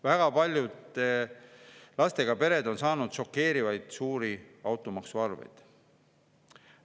Väga paljud lastega pered on saanud šokeerivalt suuri automaksuarveid.